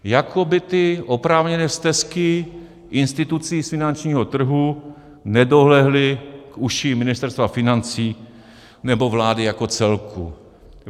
Jako by ty oprávněné stesky institucí z finančního trhu nedolehly k uším Ministerstva financí nebo vlády jako celku.